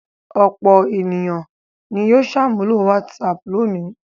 Ọ̀pọ̀ ènìyàn ni yóò ṣàmúlò WhatsApp lónìí.